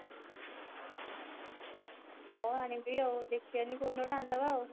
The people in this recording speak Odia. ହଁ ଆଣିବି ଆଉ ଦେଖିବାନି କୋଉଦିନ ଗୋଟେ ଆଣିଦେବା ଆଉ